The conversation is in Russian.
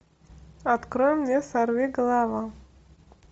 открой мне сорвиголова